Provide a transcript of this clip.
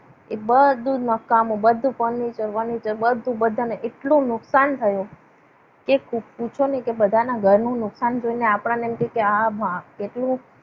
એ બધું જ નકામ બધું furniture furniture બધુ બધાને એટલું નુકસાન થયું. કે પૂછો નહીં બધાના ઘરનું નુકસાન જોઈને આપણને એમ થાય કે આ કેટલું.